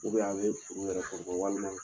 Ubɛ a bɛ furu yɛrɛ ko fo walima